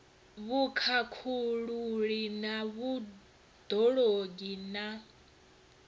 vhukhakhululi na vhud ologi na